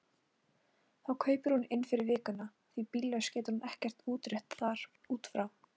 Þá kaupir hún inn fyrir vikuna því bíllaus getur hún ekkert útréttað þar út frá.